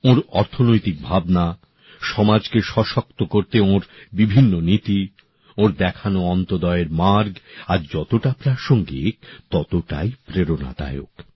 ওঁর অর্থনৈতিক ভাবনা সমাজকে শক্তিশালী করতে ওঁর বিভিন্ন নীতি ওঁর দেখানো অন্তদ্বয়ের মার্গ আজ যতটা প্রাসঙ্গিক ততটাই প্রেরণাদায়ক